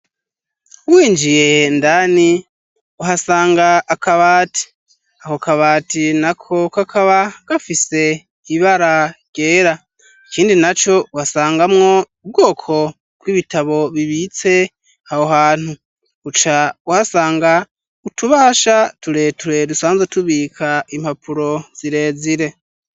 Winjiye indani uhasanga akabati. Ako kabati nako kakaba gafise ibara ryera. Ikindi naco uhasangamwo ubwoko bw'ibitabo bibitse aho hantu. Buca uhasanga utubahasha tureture dusanzwe tubika impapuro zirezire.